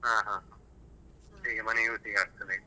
ಹ ಹಾ ಹೀಗೆ ಮನೆ use ಗೆ ಆಗ್ತದೆ.